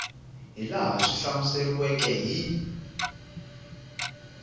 hi laha swi hlamuseriweke hi